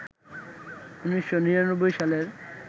১৯৯৯ সালের